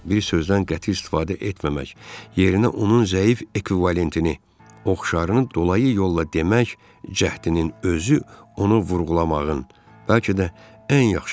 Bir sözdən qəti istifadə etməmək, yerinə onun zəif ekvivalentini, oxşarını dolayı yolla demək cəhdinin özü onu vurğulamağın, bəlkə də ən yaxşı yoludur.